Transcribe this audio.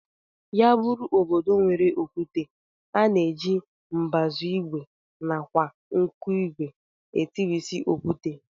Ya bụrụ obodo nwere okwute, a na-eji mbazụ ìgwè nakwa nkụigwe etirịsị okwute